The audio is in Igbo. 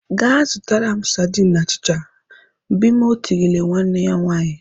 "Gaa zụtara m sardine na achịcha !" Bimoe tirile nwanne ya nwaanyị.